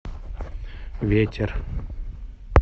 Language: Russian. ветер